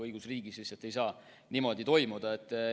Õigusriigis ei saa niimoodi olla.